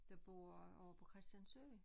Der bor ovre på Christiansø